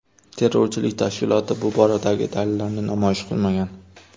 Terrorchilik tashkiloti bu boradagi dalillarini namoyish qilmagan.